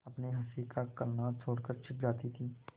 अपनी हँसी का कलनाद छोड़कर छिप जाती थीं